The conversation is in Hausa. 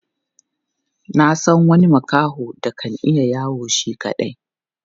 Na san wani makaho da kan iya yawo shi kaɗai.